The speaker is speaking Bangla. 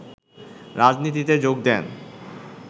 রাজনীতিতে যোগ দেন